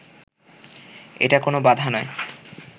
এটা কোনো বাধা নয়